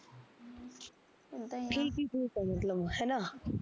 ਉਹ ਤਾਂ , ਠੀਕ ਠੁਕ ਐ ਮਤਲਬ ਹੈਨਾ